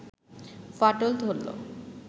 ফাটল ধরল